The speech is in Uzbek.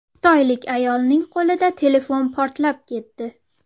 Xitoylik ayolning qo‘lida telefon portlab ketdi.